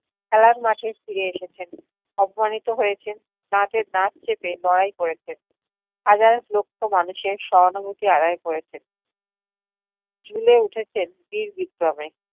খেলার মাঠে ফিরে এসেছেন। অপমানিত হয়েছেন, দাঁতে দাঁত চেপে লড়াই করেছেন, হাজার লক্ষ মানুষের সহানুভূতি আদাই করেছেন। জ্বলে উঠেছেন বীর বিক্রমে।